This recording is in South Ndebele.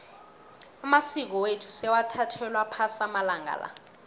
amasiko wethu sewathathelwa phasi amalanga la